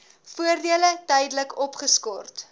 voordele tydelik opgeskort